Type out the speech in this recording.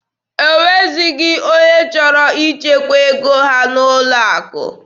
O nweghịzi onye chọrọ ichekwa ego ha n'ụlọ akụ.